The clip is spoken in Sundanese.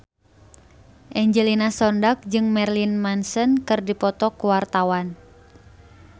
Angelina Sondakh jeung Marilyn Manson keur dipoto ku wartawan